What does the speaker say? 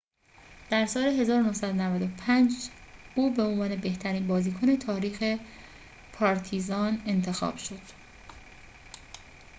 در سال ۱۹۹۵ او به عنوان بهترین بازیکن تاریخ پارتیزان انتخاب شد